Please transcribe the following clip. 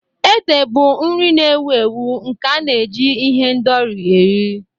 Ede bụ nri na-ewu ewu nke a na-eji ihendori eri.